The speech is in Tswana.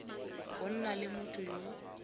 go nna le motho yo